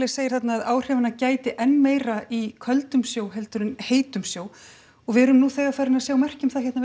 segir þarna að áhrifanna gæti enn þá meira í köldum sjó heldur en heitum sjó og við erum nú þegar farin að sjá merki um það hérna